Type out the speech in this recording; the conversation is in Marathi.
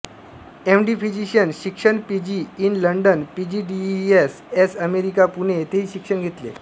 एमडी फिजीशयन शिक्षण PG in London PGDES S America Pune येथेही शिक्षण घेतले